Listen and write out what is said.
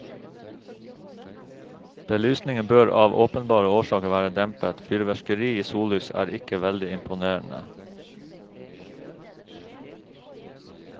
Belysningen bør av åpenbare årsaker være dempet, fyrverkeri i sollys er ikke veldig imponerende.